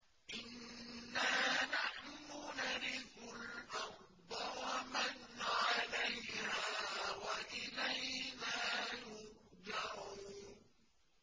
إِنَّا نَحْنُ نَرِثُ الْأَرْضَ وَمَنْ عَلَيْهَا وَإِلَيْنَا يُرْجَعُونَ